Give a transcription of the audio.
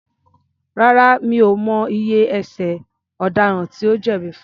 Rárá, mi ò mọ iye ẹ̀ṣẹ̀ ọ̀daràn tí ó jẹ̀bi fun.